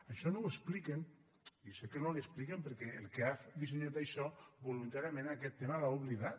això no ho expliquen i sé que no li ho expliquen perquè el que ha dissenyat això voluntàriament aquest tema l’ha oblidat